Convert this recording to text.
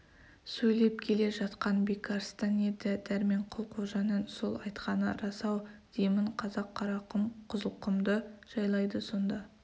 сөйлеп келе жатқан бекарыстан еді дәрменқұл қожаның сол айтқаны рас-ау деймін қазақ қарақұм қызылқұмды жайлайды сонда